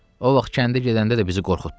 O vaxt kəndə gedəndə də bizi qorxutdu.